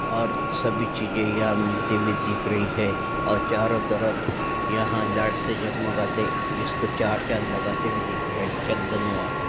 और सभी चीजे यहां मिलती हुई दिख रही है और चारो तरफ यहाँ लाइट से जगमगाते इसको चार चाँद लगाते हुए दिख रहे है च धन्यवाद।